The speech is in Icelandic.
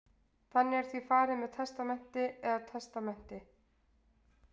þannig er því farið með testament eða testamenti